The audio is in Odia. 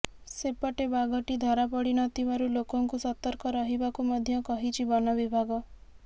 ସେପଟେ ବାଘଟି ଧରାପଡ଼ିନଥିବାରୁ ଲୋକଙ୍କୁ ସତର୍କ ରହିବାକୁ ମଧ୍ୟ କହିଛି ବନବିଭାଗ